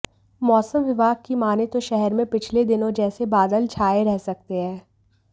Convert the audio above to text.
मौसम विभाग की माने तो शहर में पिछले दिनों जैसे बादल छाए रह सकते है